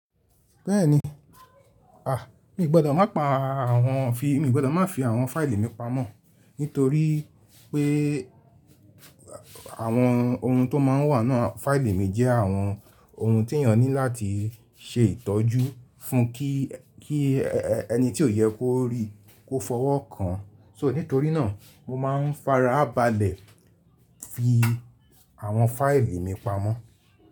Bẹ́ẹ̀ni, à mi ò gbọdọ̀ má pa àwọn fi, mi ò gbọdọ̀ má fi àwọn fáìlì mi pamọ́. Nítorí pé àwọn ohun tó máa n wà náà, fáìlì mi jẹ́ àwọn ohun tí èèyàn ní láti ṣe ìtọ́jú fún kí, kí ẹni tí ó yẹ kó rí kó fọwọ́ kàn. So nítorí náà mo máa n fara balẹ̀ fi àwọn fáìlì mi pamọ́.